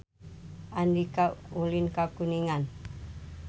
Andika ulin ka Kuningan